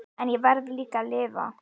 En ég verð líka að lifa.